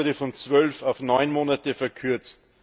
Die Frist wurde von zwölf auf neun Monate verkürzt.